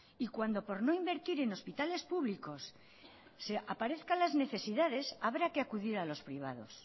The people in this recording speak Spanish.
y cuando por no invertir en hospitales públicos se aparezca las necesidades habrá que acudir a los privados